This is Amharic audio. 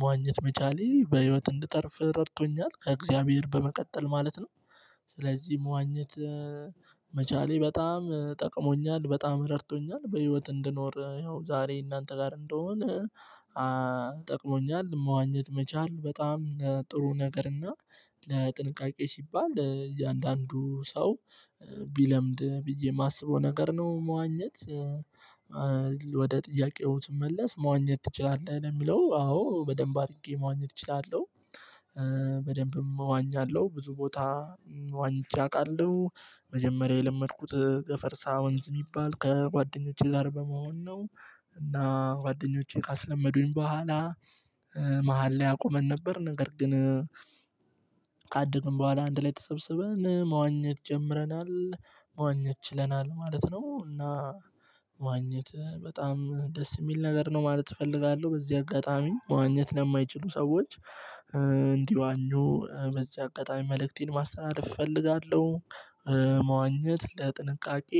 መዋኘት መቻሌ በህይወት እንድተርፍ ረድቶኛል ከእግዚአብሔር በመቀጠል ማለት ነው ነው። ስለዚህ መዋኘት መቻሌ በጣም ጠቅሞኛል በጣም ረድቶኛል። በህይወት እንድኖር ያው ዛሬ እናንተ ጋር እንድሆን። ጠቅሞኛል መዋኘት መቻል በጣም ጥሩ ነገር እና ለጥንቃቄ ሲባል እያንዳንዱ ሰው ቢለምድ ብዬ የማስበው ነገር ነው። መዋኘት ወደ ጥያቄው ስመለስ መዋኘት ትችላለህ ለሚለው አዎ በደንብ አድርጌ መዋኘት እችላለሁ። በደንብም እዋኛለሁ ብዙ ቦታ ዋኝቼ አውቃለሁ። መጀመሪያ የለመድኩት ገፈርሳ ወንዝ የሚባል ከጓደኞቼ ጋር በመሆን ነው። እና ጓደኞቼ ካስለመዱኝ በኋላ መሃል ላይ አቁመን ነበር ነገር ግን። ካደግን በኋላ አንድ ላይ ተሰብስበን መዋኘት ጀምረናል። መዋኘት ችለናል ማለት ነው። እና ማዋኘት በጣም ደስ የሚል ነገር ነው ማለት እፈልጋለሁ። በዚህ አጋጣሚ ማዋኘት ለማይችሉ ሰዎች እንዲዋኙ በዚህ አጋጣሚ መልእክቴን ማስተላለፍ እፈልጋለሁ። መዋኘት ለጥንቃቄ